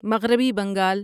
مغربی بنگال